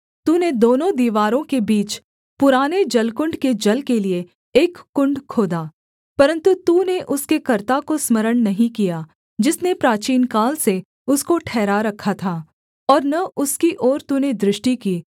तूने दोनों दीवारों के बीच पुराने जलकुण्ड के जल के लिये एक कुण्ड खोदा परन्तु तूने उसके कर्ता को स्मरण नहीं किया जिसने प्राचीनकाल से उसको ठहरा रखा था और न उसकी ओर तूने दृष्टि की